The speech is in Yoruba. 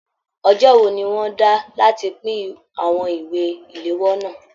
Ọjọ wò ní wọn dá láti pin àwọn ìwé iléwọ́ náà?